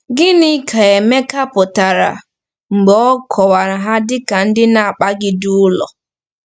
Gịnị ka Emeka pụtara mgbe ọ kọwara ha dị ka ndị “na-akpagide ụlọ”?